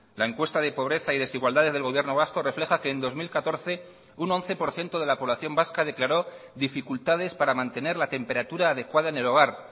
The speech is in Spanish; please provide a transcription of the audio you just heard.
la encuesta de pobreza y desigualdad del gobierno vasco refleja que en dos mil catorce un once por ciento de la población vasca declaró dificultades para mantener la temperatura adecuada en el hogar